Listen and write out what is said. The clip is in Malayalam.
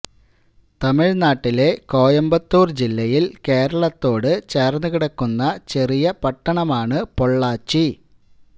തമിഴ്നാട്ടിലെ കോയമ്പത്തൂർ ജില്ലയിൽ കേരളത്തോട് ചേർന്ന് കിടക്കുന്ന ചെറിയ പട്ടണമാണ് പൊള്ളാച്ചി